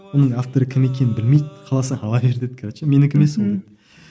оның авторы кім екенін білмейді қаласаң ала бер деді короче менікі емес ол мхм